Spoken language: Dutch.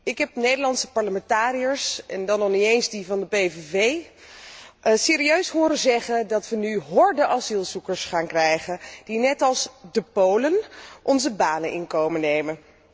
Ik heb Nederlandse parlementariërs, en dan nog niet eens die van de PVV, serieus horen zeggen dat wij nu horden asielzoekers gaan krijgen, die net als de Polen onze banen in komen nemen.